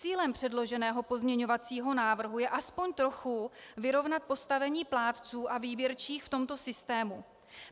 Cílem předloženého pozměňovacího návrhu je aspoň trochu vyrovnat postavení plátců a výběrčích v tomto systému.